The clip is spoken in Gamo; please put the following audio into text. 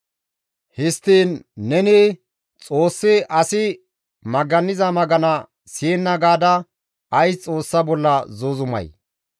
Histtiin, ‹Neni Xoossi asi maganiza magana siyenna› gaada ays Xoossa bolla zuuzumay?